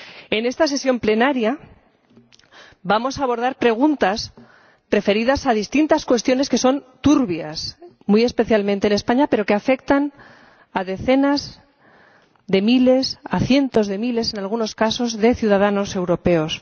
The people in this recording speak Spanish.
En esta sesión plenaria vamos a abordar preguntas referidas a distintas cuestiones que son turbias, muy especialmente en España, pero que afectan a decenas de miles —a cientos de miles en algunos casos— de ciudadanos europeos.